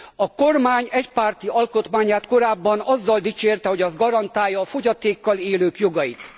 A kormány egypárti alkotmányát korábban azzal dicsérte, hogy az garantálja a fogyatékkal élők jogait.